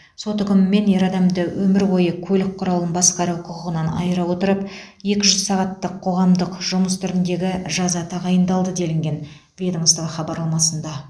сот үкімімен ер адамды өмір бойы көлік құралын басқару құқығынан айыра отырып екі жүз сағаттық қоғамдық жұмыс түріндегі жаза тағайындалды делінген ведомство хабарламасында